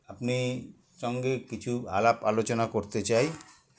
আপনি সঙ্গে কিছু আলাপ আলোচনা করতে চাই